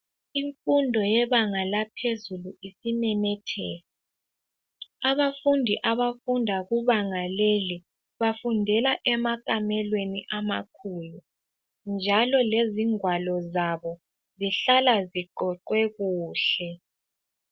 Imfundo yebanga laphezulu isimemetheka , abafundi abafunda kubanga leli bafundela emakalweni amakhulu njalo lezingwalo zabo zihlala zigoqwe kuhle